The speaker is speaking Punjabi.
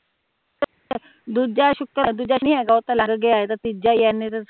ਦੂਜਾ ਸੂਕਰ ਦੂਜਾ ਨੀ ਹੇਗਾ ਉਹ ਤਾ ਲੰਗ ਗਿਆ ਇਹ ਤਾ ਤੀਜਾ ਈ